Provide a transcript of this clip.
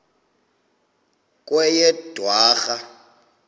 kweyedwarha